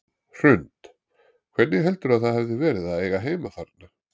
Hrund: Hvernig heldurðu að það hafi verið að eiga heima þarna?